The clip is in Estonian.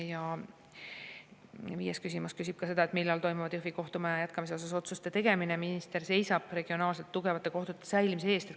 " Ja viies küsimus jätkub: "Millal toimuvad Jõhvi kohtumaja jätkamise osas otsuste tegemine ja minister seisab regionaalselt tugevate kohtute säilimise eest?